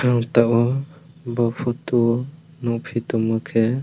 ang tabok bo poto o nogpi tangma khe.